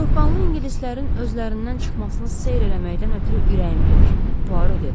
Soyuqqanlı ingilislərin özlərindən çıxmasını seyr eləməkdən ötrü ürəyim gedir, Puaro dedi.